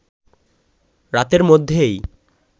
রাতের মধ্যেই